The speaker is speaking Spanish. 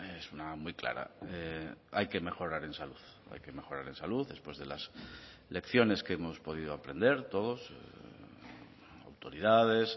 es una muy clara hay que mejorar en salud hay que mejorar en salud después de las lecciones que hemos podido aprender todos autoridades